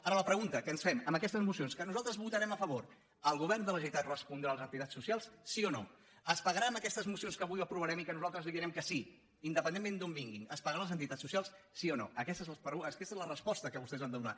ara la pregunta que ens fem amb aquestes mocions que nosaltres votarem a favor el govern de la generalitat respondrà a les entitats socials sí o no es pagarà amb aquestes mocions que avui aprovarem i a les quals nosaltres direm que sí independentment d’on vinguin es pagarà a les entitats socials sí o no aquesta és la resposta que vostès han de donar